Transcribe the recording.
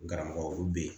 Garamɔgɔ be yen